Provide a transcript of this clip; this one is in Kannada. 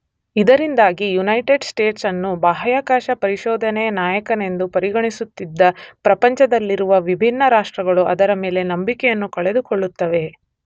ಇದರಿಂದಾಗಿ ಯುನೈಟೆಡ್ ಸ್ಟೇಟ್ಸ್ ಅನ್ನು ಬಾಹ್ಯಾಕಾಶ ಪರಿಶೋಧನೆಯ ನಾಯಕನೆಂದು ಪರಿಗಣಿಸುತ್ತಿದ್ದ ಪ್ರಪಂಚದಲ್ಲಿರುವ ವಿಭಿನ್ನ ರಾಷ್ಟ್ರಗಳು ಅದರ ಮೇಲೆ ನಂಬಿಕೆಯನ್ನು ಕಳೆದುಕೊಳ್ಳುತ್ತವೆ.